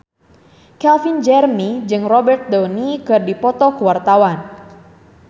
Calvin Jeremy jeung Robert Downey keur dipoto ku wartawan